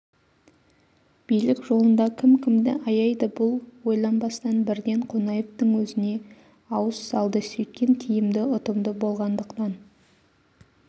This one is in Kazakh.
билік жолында кім кімді аяйды бұл ойланбастан бірден қонаевтың өзіне ауыз салды сөйткен тиімді ұтымды болғандықтан